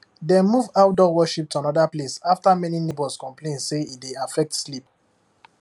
dem move outdoor worship to another place after many neighbours complain say e dey affect sleep